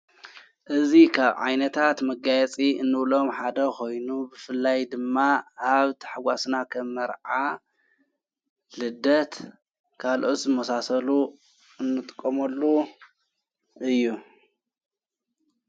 እዙ ኻብ ዓይነታት መጋያጺ እንኡሎም ሓደ ኾይኑ ብፍላይ ድማ ኣብ ተሕዋስና ኸ መርዓ ልደት ካልኦዝ መሳሰሉ እንጥቆመሉ እዩ።